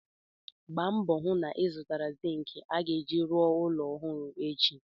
Gbaa mbọ hụ na-ịzụtara zịịnkị a ga-eji rụọ ụlọ ọhụrụ ahụ echi!